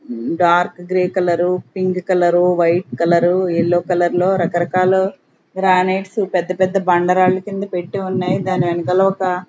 ఉమ్ dark grey colour pink colour white colour yellow colour లో రకరకాల granites పెద్ద పెద్ద బండరాళ్ళ కింద పెట్టి ఉన్నాయి దాని వెనకల ఒక --